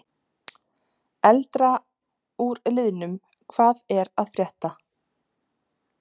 Eldra úr liðnum Hvað er að frétta?